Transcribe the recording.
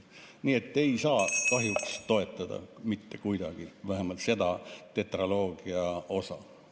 Nii et kahjuks ei saa ma seda mitte kuidagi toetada, vähemalt mitte seda tetraloogia osa.